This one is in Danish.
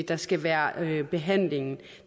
der skal være behandlingen